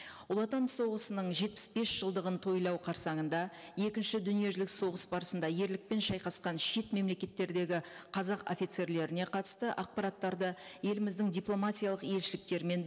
ұлы отан соғысының жетпіс бес жылдығын тойлау қарсанында екінші дүниежүзілік соғыс барысында ерлікпен шайқасқан шет мемлекеттердегі қазақ офицерлеріне қатысты ақпараттарды еліміздің дипломатиялық елшіліктерімен